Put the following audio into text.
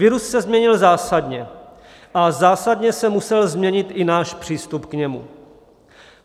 Virus se změnil zásadně a zásadně se musel změnit i náš přístup k němu.